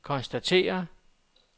konstaterer